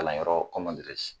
Kalanyɔrɔ kɔman dirɛze